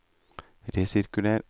resirkuler